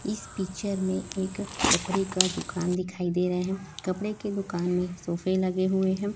इस पिक्चर में एक कपड़े का दुकान दिखाई दे रहे हैं कपड़े के दुकान में सोफे लगे हुए हैं।